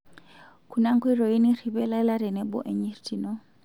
Kuna nkoitoi nirripie lala tenebo enyirt ino.